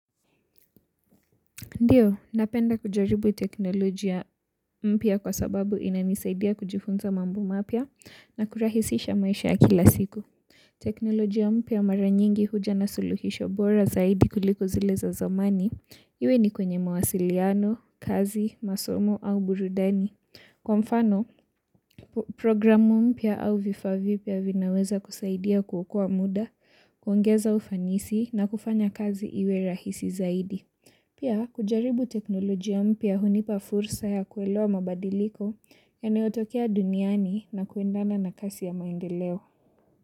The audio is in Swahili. Ndiyo, napenda kujaribu teknolojia mpya kwa sababu inanisaidia kujifunza mambo mapya na kurahisisha maisha kila siku. Teknolojia mpya mara nyingi huja na suluhisho bora zaidi kuliko zile za zamani. Iwe ni kwenye mawasiliano, kazi, masomo au burudani. Kwa mfano, programu mpya au vifaa vipya vinaweza kusaidia kuokoa muda, kuongeza ufanisi na kufanya kazi iwe rahisi zaidi. Pia kujaribu teknolojia mpya hunipa fursa ya kuelewa mabadiliko yanayotokea duniani na kuendana na kasi ya maendeleo.